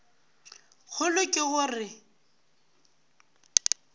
kgolo ke go re na